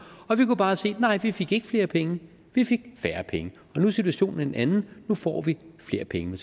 og vi kunne bare se at nej vi fik ikke flere penge vi fik færre penge nu er situationen en anden nu får vi flere penge